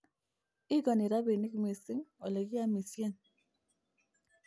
igoni robinik missing olegiamishen